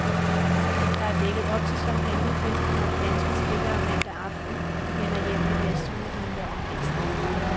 Der er dækket op til champagnefest, når de danske spillere mandag aften vender hjem med deres sølvmedaljer om halsen.